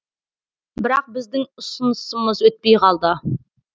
бірақ біздің ұсынысымыз өтпей қалды